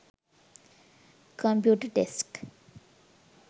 computer desk